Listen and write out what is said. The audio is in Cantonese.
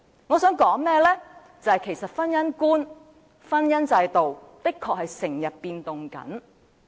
我想說的是，其實婚姻觀及婚姻制度的確在不斷改變。